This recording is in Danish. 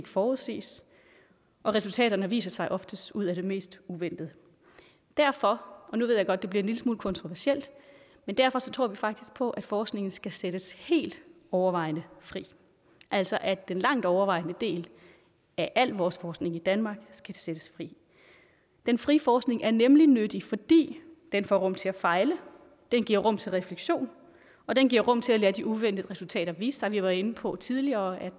forudsiges og resultaterne viser sig oftest ud af det mest uventede derfor og nu ved jeg godt det bliver en lille smule kontroversielt tror vi faktisk på at forskningen skal sættes helt overvejende fri altså at den langt overvejende del af al vores forskning i danmark skal sættes fri den frie forskning er nemlig nyttig fordi den får rum til at fejle den giver rum til refleksion og den giver rum til at lade de uventede resultater vise sig vi var inde på tidligere at